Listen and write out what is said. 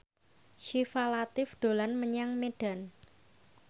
Syifa Latief dolan menyang Medan